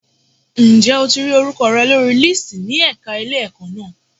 Ǹjẹ́ o ti rí orúkọ rẹ lórí lísìtì ní ẹ̀ka ilé-ẹ̀kọ́ na.